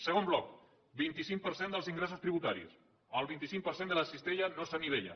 segon bloc vint cinc per cent dels ingressos tributaris el vint cinc per cent de la cistella no s’anivella